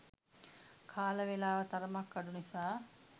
කාල වෙලාව තරමක් අඩු නිසා